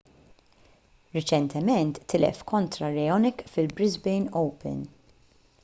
riċentement tilef kontra raonic fil-brisbane open